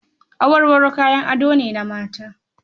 Awarwaro kayan ado ne na mata.